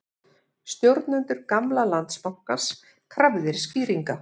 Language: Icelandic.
Stjórnendur gamla Landsbankans krafðir skýringa